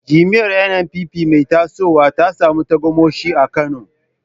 Jam’iyyar NNPP mai tasowa ta samu tagomashi a Kano.